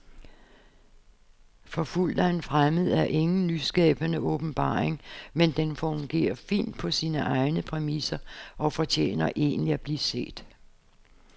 Forfulgt af en fremmed er ingen nyskabende åbenbaring, men den fungerer fint på sine egne præmisser og fortjener egentlig at blive set.